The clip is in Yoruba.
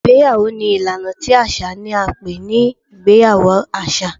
Ìgbéyàwó ni ìlaná tí aṣa ní a n pẹ ní ìgbéyàwó aṣa